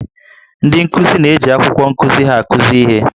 Ndị nkuzi na-eji akwụkwọ nkuzi ha akụzi ihe